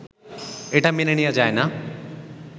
এটা মেনে নেয়া যায় না